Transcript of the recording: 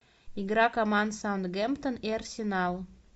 игра команд саутгемптон и арсенал